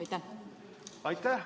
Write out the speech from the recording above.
Aitäh!